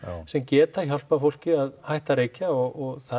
sem geta hjálpað fólki að hætta að reykja og það